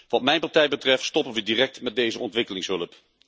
Wat mijn partij betreft, stoppen we direct met deze ontwikkelingshulp.